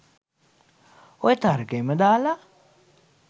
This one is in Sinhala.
ඔය තර්කයම දාලා